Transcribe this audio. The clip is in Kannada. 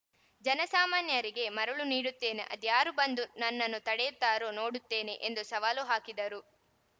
ಜನಸಾಮಾನ್ಯರಿಗೆ ಮರುಳು ನೀಡುತ್ತೇನೆ ಅದ್ಯಾರು ಬಂದು ನನ್ನನ್ನು ತಡೆಯುತ್ತಾರೋ ನೋಡುತ್ತೇನೆ ಎಂದು ಸವಾಲು ಹಾಕಿದರು